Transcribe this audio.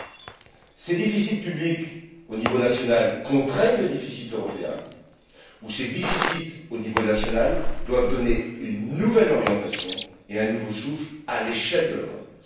Soit ces déficits publics au niveau national contraignent le déficit européen, soit ces déficits au niveau national doivent donner une nouvelle orientation et un nouveau souffle à l'échelle de l'Europe.